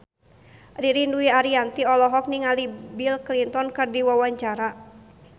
Ririn Dwi Ariyanti olohok ningali Bill Clinton keur diwawancara